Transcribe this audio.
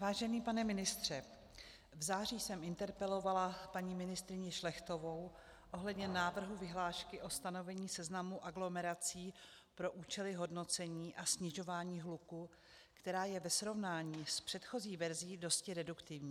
Vážený pane ministře, v září jsem interpelovala paní ministryni Šlechtovou ohledně návrhu vyhlášky o stanovení seznamu aglomerací pro účely hodnocení a snižování hluku, která je ve srovnání s předchozí verzí dosti reduktivní.